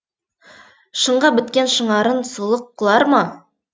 шынға біткен шынарың сұлық құлар ма